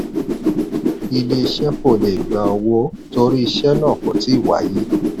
ilé iṣẹ́ kò le gbà owó torí iṣẹ́ náà kò tíì wáyé.